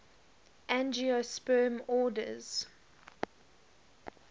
angiosperm orders